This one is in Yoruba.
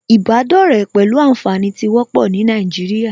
Ìbádọ́rẹ̀ẹ́ pẹ̀lú ànfàní tí wọ́pọ̀ ní Nàìjíríà